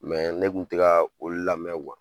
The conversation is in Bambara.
ne kun te kaa olu lamɛ .